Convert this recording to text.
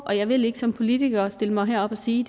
og jeg vil ikke som politiker stille mig herop og sige